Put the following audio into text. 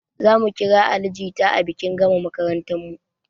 Zamu kira ali jita a bikin gama makarantarmu